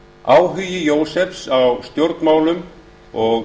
áhugi jósefs á stjórnmálum og